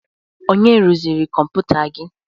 Onye rụziri kọmputa gị?